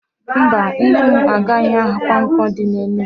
Mba, Nne m agaghị ahia Nkwo di na Enugwu.